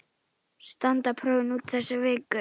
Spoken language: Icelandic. Standa prófin út þessa viku.